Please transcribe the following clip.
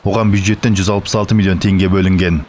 оған бюджеттен жүз алпыс алты миллион теңге бөлінген